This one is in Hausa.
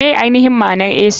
Ma ainihin maanar ac?